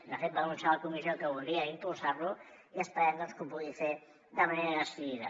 de fet va anunciar a la comissió que volia impulsar lo i esperem doncs que ho pugui fer de manera decidida